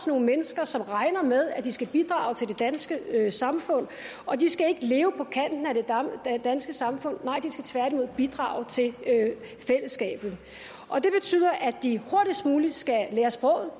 nogle mennesker som regner med at de skal bidrage til det danske samfund og de skal ikke leve på kanten af det danske samfund nej de skal tværtimod bidrage til fællesskabet det betyder at de hurtigst muligt skal lære sproget